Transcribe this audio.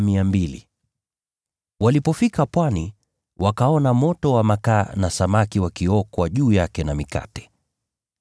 Walipofika ufuoni, wakaona moto wa makaa na samaki wakiokwa juu yake na mikate.